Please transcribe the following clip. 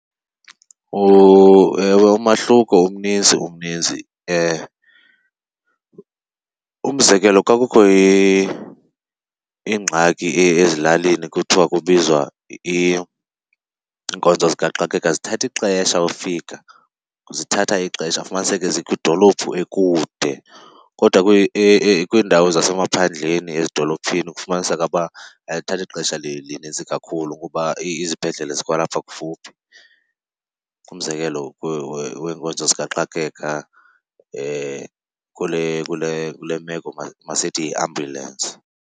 Ewe umahluko umninzi, umninzi. Umzekelo, xa kukho ingxaki ezilalini kuthiwa kubizwa iinkonzo zikaxakeka zithatha ixesha ufika, zithatha ixesha. Ufumaniseke zikwidolophu ekude kodwa kwiindawo zasemaphandleni, ezidolophini kufumaniseka uba azithathi xesha lininzi kakhulu kuba izibhedlele zikwalapha kufuphi. Umzekelo weenkonzo zikaxakeka kule meko masithi yiambulensi.